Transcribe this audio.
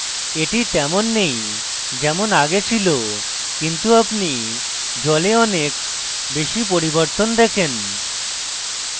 এটি তেমন নেই যেমন আগে ছিল কিন্তু আপনি জলে অনেক বেশী পরিবর্তন দেখেন